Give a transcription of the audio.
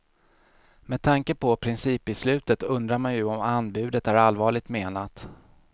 Med tanke på principbeslutet undrar man ju om anbudet är allvarligt menat.